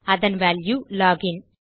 அதன் value lock இன்